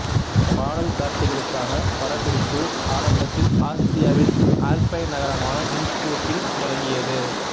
பாடல் காட்சிகளுக்கான படப்பிடிப்பு ஆரம்பத்தில் ஆஸ்திரியாவின் ஆல்பைன் நகரமான இன்ஸ்ப்ரூக்கில் தொடங்கியது